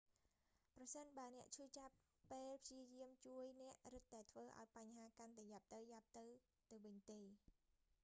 ប្រសិនបើអ្នកឈឺចាប់ពេលព្យាយាមជួយ អ្នករឹតតែធ្វើឱ្យបញ្ហាកាន់តែយ៉ាប់ទៅៗទៅវិញទេ